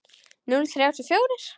Núll þrjátíu og fjórir?